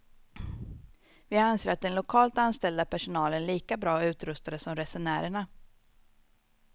Vi anser att den lokalt anställda personalen är lika bra utrustade som resenärerna.